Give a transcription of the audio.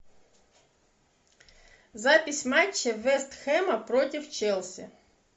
запись матча вест хэма против челси